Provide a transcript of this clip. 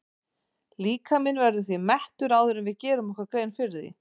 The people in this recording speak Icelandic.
Líkaminn verður því mettur áður en við gerum okkur grein fyrir því.